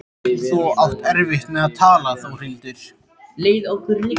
Þú átt erfitt með að tala Þórhildur.